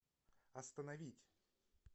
остановить